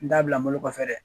N t'a bila n bolo kɔfɛ dɛ